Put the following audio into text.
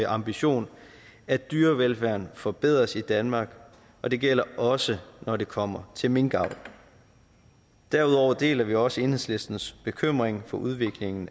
ambition at dyrevelfærden forbedres i danmark og det gælder også når det kommer til minkavl derudover deler vi også enhedslistens bekymring for udviklingen